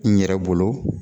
N yɛrɛ bolo